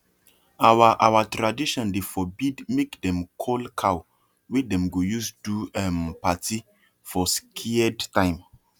our our tradition dey forbid make them koll cow wey dem go use do um party for scared time